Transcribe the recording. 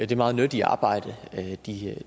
det meget nyttige arbejde de